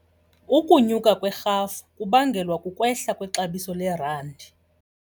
Ukunyuka kwerhafu kubangelwa kukwehla kwexabiso lerandi.